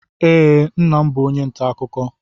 Ee, nna m bụ onye nta akụkọ.